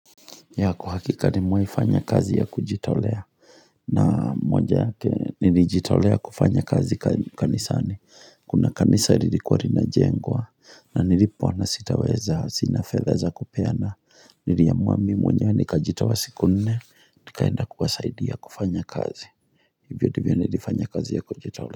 Ya kwa uhakika nimewai fanya kazi ya kujitaolea na moja yake nilijitolea kufanya kazi kanisani Kuna kanisa lilikuwa rinajengwa na nilipoona sitaweza sina fedha za kupeana niliamua mi mwenye nikajitoa siku nne Nikaenda kuwasaidia kufanya kazi Hivyo ndivyo nilifanya kazi ya kujitolea.